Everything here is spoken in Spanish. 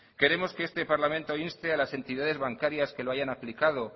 queremos que este parlamento inste a las entidades bancarias que lo hayan aplicado